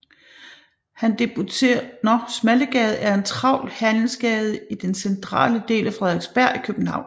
Smallegade er en travl handelsgade i den centrale del af Frederiksberg i København